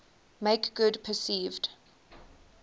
make good perceived